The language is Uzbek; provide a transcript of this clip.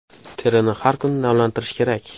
Terini har kuni namlantirish kerak.